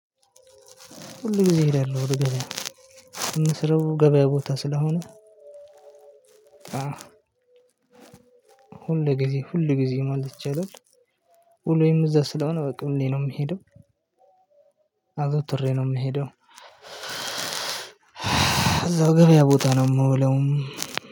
ሁል ጊዜ እሄዳለሁ ወደ ገበያ ምስረው ገበያ ቦታ ስለሆነ። ሁል ጊዜ ሁል ጊዜ ማለት ይቻላል። ውሎየም እዛ ስለሆነ በቃ ሁሌ ነው የምሄደው። አዘውትሬ ነው የምሄደው። እዛው ገበያ ቦታ ነው የምውለው።